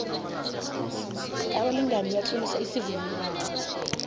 abalingani batlolisa isivumelwano